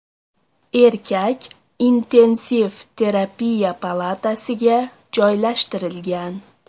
Erkak intensiv terapiya palatasiga joylashtirilgan.